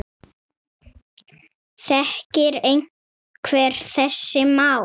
Þekkir einhver þessi mál?